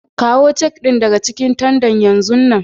Kawo cak din daga cikin tandan yanzun nan!